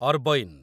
ଅରବଈନ୍